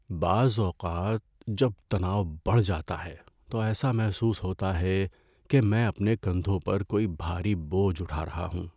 بعض اوقات، جب تناؤ بڑھ جاتا ہے تو ایسا محسوس ہوتا ہے کہ میں اپنے کندھوں پر کوئی بھاری بوجھ اٹھا رہا ہوں۔